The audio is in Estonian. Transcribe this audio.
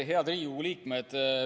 Head Riigikogu liikmed!